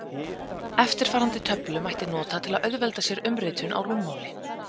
Eftirfarandi töflu mætti nota til að auðvelda sér umritun á rúmmáli.